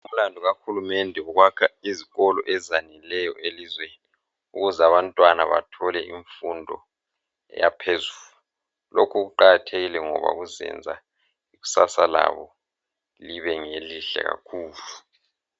Umlandu kahulumende ngowokwakha izikolo ezaneleyo elizweni ukuze abantwana bathole imfundo yaphezulu. Lokhu kuqakatheke ngoba kuzenza ikusasa labo libe ngelihle kakhulu.